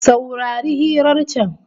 Saurari hirar can